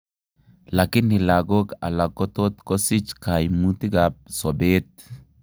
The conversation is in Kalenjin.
Lakini lagok alak kotot kosich kaimutik ab sobeet